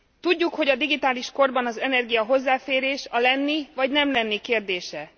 Tudjuk, hogy a digitális korban az energia hozzáférés a lenni vagy nem lenni kérdése.